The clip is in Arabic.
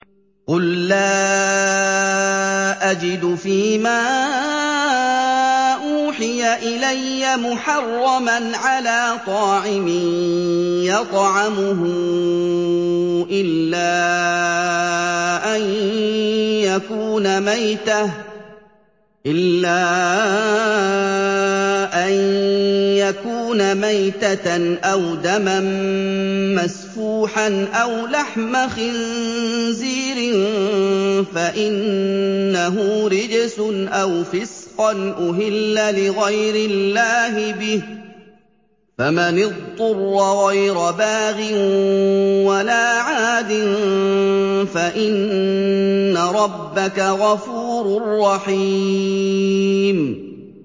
قُل لَّا أَجِدُ فِي مَا أُوحِيَ إِلَيَّ مُحَرَّمًا عَلَىٰ طَاعِمٍ يَطْعَمُهُ إِلَّا أَن يَكُونَ مَيْتَةً أَوْ دَمًا مَّسْفُوحًا أَوْ لَحْمَ خِنزِيرٍ فَإِنَّهُ رِجْسٌ أَوْ فِسْقًا أُهِلَّ لِغَيْرِ اللَّهِ بِهِ ۚ فَمَنِ اضْطُرَّ غَيْرَ بَاغٍ وَلَا عَادٍ فَإِنَّ رَبَّكَ غَفُورٌ رَّحِيمٌ